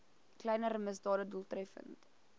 kleiner misdade doeltreffend